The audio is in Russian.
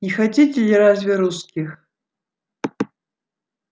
не хотите ли разве русских